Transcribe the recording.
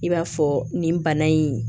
I b'a fɔ nin bana in